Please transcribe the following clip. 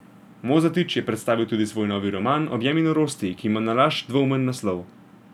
Mozetič je predstavil tudi svoj novi roman Objemi norosti, ki ima nalašč dvoumen naslov.